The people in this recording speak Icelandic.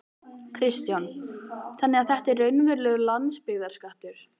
Kristján: Þannig að þetta er raunverulegur landsbyggðarskattur?